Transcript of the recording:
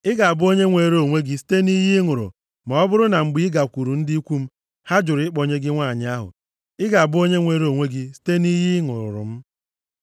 Ị ga-abụ onye nwere onwe gị site nʼiyi ị ṅụrụ ma ọ bụrụ na mgbe i gakwuru ndị ikwu m, ha jụrụ ịkpọnye gị nwanyị ahụ. Ị ga-abụ onye nwere onwe gị site nʼiyi ị ṅụrụ m.’